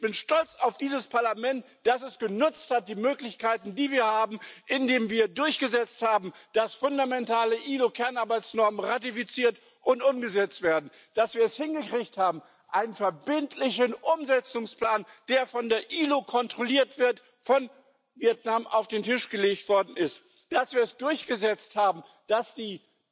Und ich bin stolz auf dieses Parlament, dass es die Möglichkeiten, die wir haben, genutzt hat, indem wir durchgesetzt haben, dass fundamentale ILO Kernarbeitsnormen ratifiziert und umgesetzt werden, dass wir es hingekriegt haben, dass ein verbindlicher Umsetzungsplan, der von der ILO kontrolliert wird, von Vietnam auf den Tisch gelegt worden ist, dass wir es durchgesetzt haben, dass die